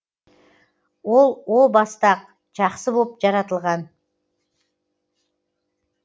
ол о баста ақ жақсы боп жаратылған